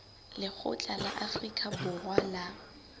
lekgotla la afrika borwa la